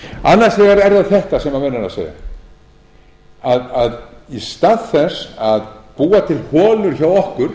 er það þetta sem menn eru að segja að í stað þess að búa til holur hjá okkur